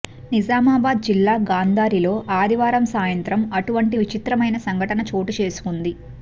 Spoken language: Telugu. నిజామాబాద్ జిల్లా గాంధారిలో ఆదివారం సాయంత్రం అటువంటి విచిత్రమైన సంఘటన చోటుచేసుకుంది